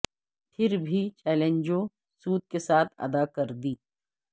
پھر بھی چیلنجوں سود کے ساتھ ادا کر دی